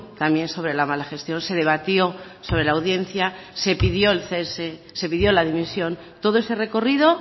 también sobre la mala gestión se debatió sobre la audiencia se pidió el cese se pidió la dimisión todo ese recorrido